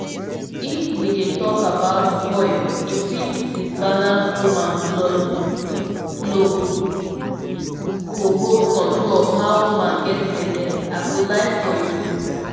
if we dey talk about coil e fit disbalance woman blood flow--go hold control of how woman get belle i go lie for you